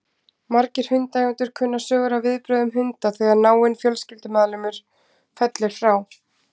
Margir hundaeigendur kunna sögur af viðbrögðum hunda þegar náinn fjölskyldumeðlimur fellur frá.